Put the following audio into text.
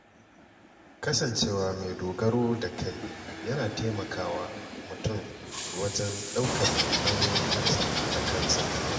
Kasancewa mai dogaro da kai yana taimakawa mutum wajen ɗaukar nauyin kansa da kansa.